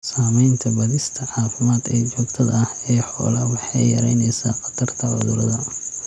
Samaynta baadhista caafimaad ee joogtada ah ee xoolaha waxa ay yaraynaysaa khatarta cudurada.